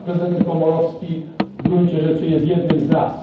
Prezydent Komorowski w gruncie rzeczy jest jednym z nas.